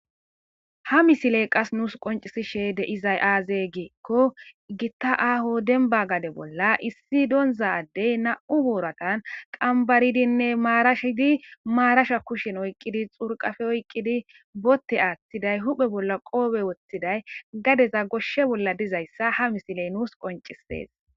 ha misiley qas nuus qoncisishe deizay aaze giikko gitta aho denba gade bolla issi doonzadey na7u booratan qambaridinne maarashidi maarasha kushin oyqqidi xurqafe oyqqidi botte aaththiday huphe bolla qoobe woththiday gadeza goshshe bolla dizayssa ha misiley nuus qoncisees